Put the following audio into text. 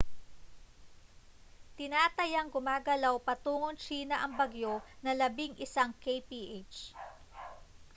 tinatayang gumagalaw patungong tsina ang bagyo nang labing-isang kph